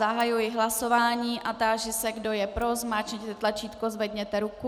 Zahajuji hlasování a táži se, kdo je pro, zmáčkněte tlačítko, zvedněte ruku.